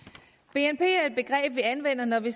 bnp er et begreb vi anvender når vi